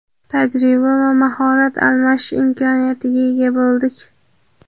tajriba va mahorat almashish imkoniyatiga ega bo‘ldik.